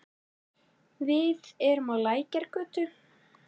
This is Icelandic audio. Við erum á Lækjargötu.